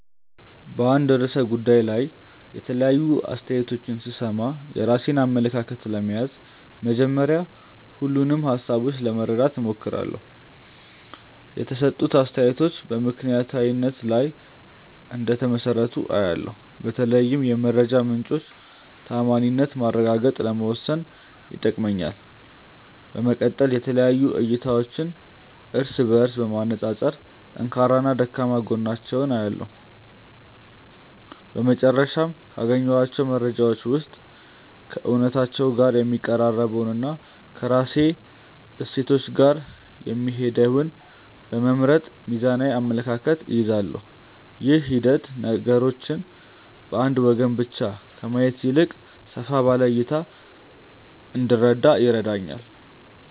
በአንድ ርዕሰ ጉዳይ ላይ የተለያዩ አስተያየቶችን ስሰማ፣ የራሴን አመለካከት ለመያዝ መጀመሪያ ሁሉንም ሃሳቦች ለማዳመጥ እሞክራለሁ። የተሰጡት አስተያየቶች በምክንያታዊነት ላይ እንደተመሰረቱ አያለው፤ በተለይም የመረጃ ምንጮቹን ተዓማኒነት ማረጋገጥ ለመወሰን ይጠቅመኛል። በመቀጠል የተለያዩ እይታዎችን እርስ በእርስ በማነፃፀር ጠንካራና ደካማ ጎናቸውን እለያለሁ። በመጨረሻም፣ ካገኘኋቸው መረጃዎች ውስጥ ከእውነታው ጋር የሚቀራረበውንና ከራሴ እሴቶች ጋር የሚሄደውን በመምረጥ ሚዛናዊ አመለካከት እይዛለሁ። ይህ ሂደት ነገሮችን በአንድ ወገን ብቻ ከማየት ይልቅ ሰፋ ባለ እይታ እንድረዳ ይረዳኛል።